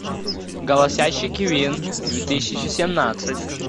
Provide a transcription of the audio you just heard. голосящий кивин две тысячи семнадцать